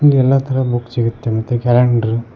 ಇಲ್ಲಿ ಎಲ್ಲ ತರ ಬುಕ್ ಸಿಗುತ್ತೆ ಮತ್ತೆ ಕ್ಯಾಲೆಂಡರ್ --